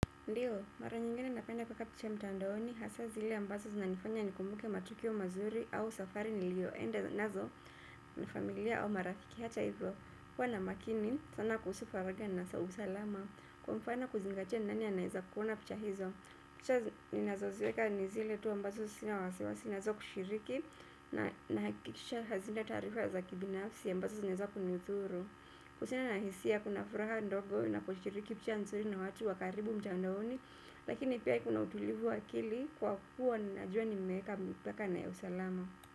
Ndiyo, mara nyingene napenda kueka picha mtandaoni, hasaa zile ambazo zinanifanya nikumbuke matukio mazuri au safari nilioenda nazo na familia au marafiki hata hivyo. Kuwa na makini, sana kuhusu faragha na usalama, kwa mfano kuzingatia ni nani anaweza kuona picha hizo. Picha ninazoziweka ni zile tu ambazo sina wasiwasi nazo kushiriki na nahakikisha hazina taarifa za kibinafsi ambazo zinaweza kunidhuru. Kuhusiana na hisia kuna furaha ndogo na kushiriki pia ni nzuri na watu wa karibu mtandaoni. Lakini pia iko na utulivu wa akili kwa kuwa ninajua nimeweka mipaka na ya usalama.